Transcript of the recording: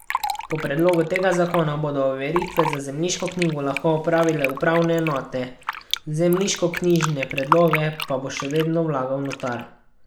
Po predlogu tega zakona bodo overitve za zemljiško knjigo lahko opravile upravne enote, zemljiškoknjižne predloge pa bo še vedno vlagal notar.